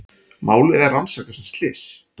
Málið er rannsakað sem slys